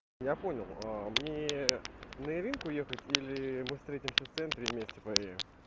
я понял мне на яринку ехать или мы встретимся в центре и вместе поедем